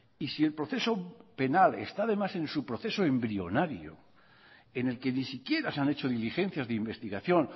y si el proceso penal está además en su proceso embrionario en el que ni siquiera se han hecho diligencias de investigación